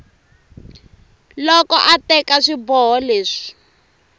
loko a teka swiboho leswi